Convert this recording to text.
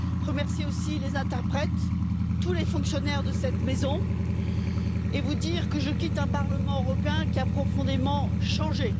Remercier aussi les interprètes, tous les fonctionnaires de cette maison et vous dire que je quitte un Parlement européen qui a profondément changé.